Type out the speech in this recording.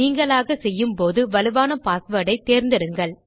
நீங்களாக செய்யும் போது வலுவான பாஸ்வேர்ட் ஐ தேர்ந்ந்தெடுங்கள்